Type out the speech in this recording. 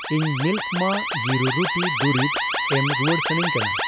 ᱤᱧ ᱢᱤᱞᱠ ᱢᱟ ᱜᱤᱨᱩ ᱨᱩᱴᱤ ᱫᱩᱨᱤᱵᱽ ᱮᱢ ᱨᱩᱣᱟᱹᱲ ᱥᱟᱹᱱᱟᱧ ᱠᱟᱱᱟ ᱾